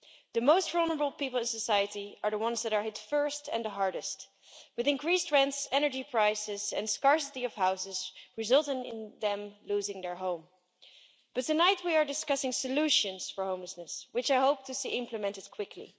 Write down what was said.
The most vulnerable people in society are the ones that are hit first and hardest, with increased rent, energy prices and scarcity of houses resulting in them losing their home. But tonight we are discussing solutions for homelessness, which I hope to see implemented quickly.